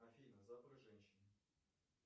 афина запах женщины